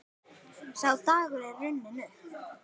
Sá dagur er runninn upp.